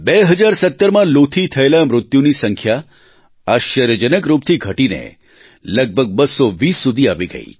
2017માં લૂ થી થયેલા મૃત્યુની સંખ્યા આશ્ચર્યજનક રૂપથી ઘટીને લગભગ 220 સુધી આવી ગઇ